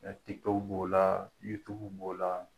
b'o la b'o la .